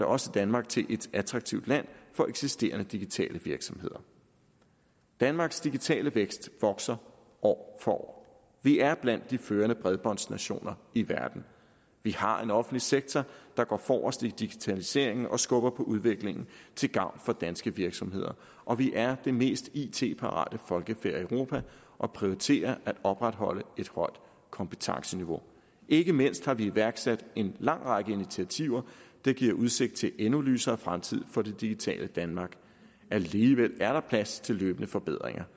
også danmark til et attraktivt land for eksisterende digitale virksomheder danmarks digitale vækst vokser år for år vi er blandt de førende bredbåndsnationer i verden vi har en offentlig sektor der går forrest i digitaliseringen og skubber på udviklingen til gavn for danske virksomheder og vi er det mest it parate folkefærd i europa og prioriterer at opretholde et højt kompetenceniveau ikke mindst har vi iværksat en lang række initiativer der giver udsigt til en endnu lysere fremtid for det digitale danmark alligevel er der plads til løbende forbedringer